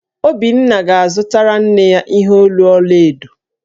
Obinna ga-azụtara nne ya ihe olu ọla edo